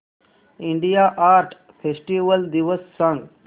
India art festival दिवस सांग